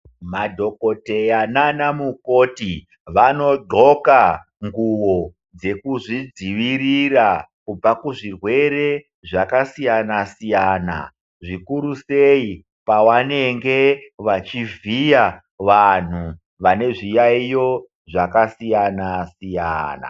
Madhokodheya nanamukoti vanodhloka nguwo dzekuzvidzivirira kubva kuzvirwere zvakasiyana siyana zvikuru sei pavanenge vachivhiya vanhu vane zviyayiyo zvakasiyana siyana .